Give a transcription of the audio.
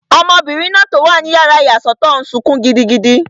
Ọmọbìnrin náà tó wà ní yàrá ìyàsọ́tọ̀ n sọkún gidigidi